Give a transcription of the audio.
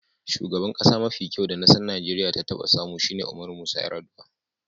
Shugaban kasa mafi kyau da kasan Nijeriya ya taba samu shine Umaru Musa Yar'adua.